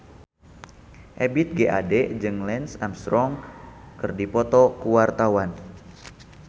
Ebith G. Ade jeung Lance Armstrong keur dipoto ku wartawan